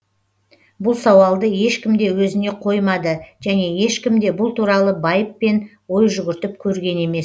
бұл сауалды ешкім де өзіне қоймады және ешкім де бұл туралы байыппен ой жүгіртіп көрген емес